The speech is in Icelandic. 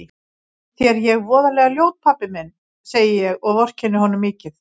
Finnst þér ég voðalega ljót pabbi minn, segi ég og vorkenni honum mikið.